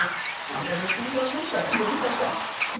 Não, o Brasil tem um problema sério de educação.